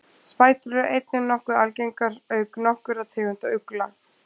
spætur eru einnig nokkuð algengar auk nokkurra tegunda ugla